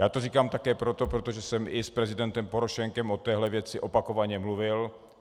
Já to říkám také proto, protože jsem i s prezidentem Porošenkem o téhle věci opakovaně mluvil.